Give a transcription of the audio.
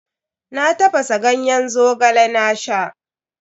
Na tafasa ganyen Zogale na sha.